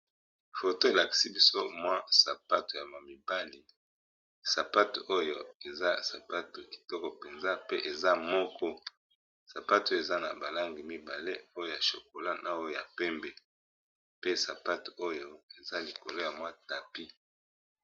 Foto elaksi biso mwa sapatu ya ma mibali, sapatu oyo eza sapatu kitoko mpenza pe eza moko. Sapatu eza na ba langi mibale oyo ya chocolat na oyo ya pembe, pe sapatu oyo eza likolo ya mwa tapis.